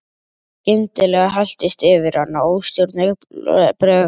Skyndilega helltist yfir hana óstjórnleg bræði.